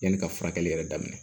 Yanni ka furakɛli yɛrɛ daminɛ